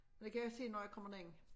Men det kan jeg se når jeg kommer derind